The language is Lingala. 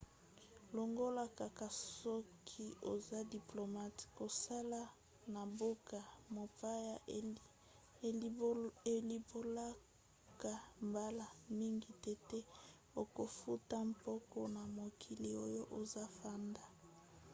longola kaka soki oza diplomate kosala na mboka mopaya elimbolaka mbala mingi tete okofuta mpako na mokili oyo ozafanda